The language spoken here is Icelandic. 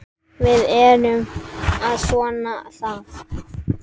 Við erum að vona það.